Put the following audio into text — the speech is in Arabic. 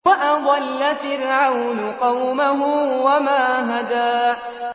وَأَضَلَّ فِرْعَوْنُ قَوْمَهُ وَمَا هَدَىٰ